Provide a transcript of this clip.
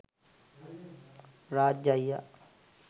රාජ් අයියා